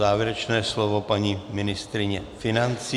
Závěrečné slovo paní ministryně financí.